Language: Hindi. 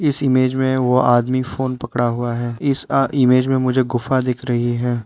इस इमेज में वो आदमी फोन पकड़ा हुआ है इस इमेज में मुझे गुफा दिख रही है।